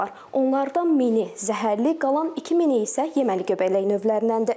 Onlardan mini zəhərli, qalan ikimini isə yeməli göbələk növlərindəndir.